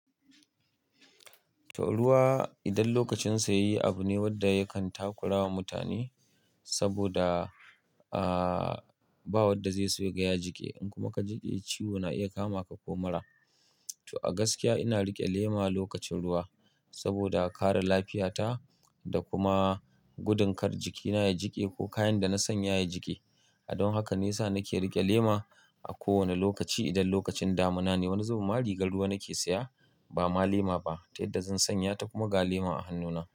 To ruwa idan lokacin sa yayi abu ne wanda yakan takurawa mutane, saboda a ba wanda zai so ya gaya jiki. In kuma ka jiƙe ciwo na iya kama ka ko mura. To a gaskiya ina riƙe lema lokacin ruwa saboda kare lafiya ta da kuma gudun kar jikina ya jiƙe ko kayan da na sanya ya jiƙe. Don haka nesa nake riƙe lema a kowane lokaci idan lokacin damina ne. Wani zoben marigar ruwa nake siya, ba ma lema ba, tai da zan sanya ta kuma ga lema a hannuna.